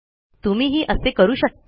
तुम्ही ही असे करू शकता